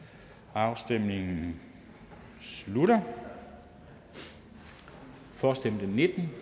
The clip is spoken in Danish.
afstemningen slutter for stemte nitten